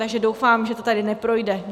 Takže doufám, že to tady neprojde.